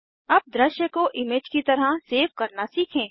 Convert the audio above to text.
अब दृश्य को इमेज की तरह सेव करना सीखें